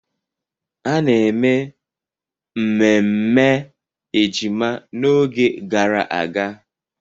A na-eme mmemme ejima n'oge gara aga.